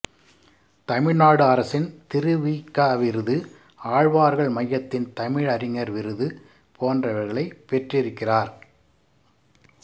தமிழ்நாடு அரசின் திரு வி க விருது ஆழ்வார்கள் மையத்தின் தமிழறிஞர் விருது போன்றவைகளைப் பெற்றிருக்கிறார்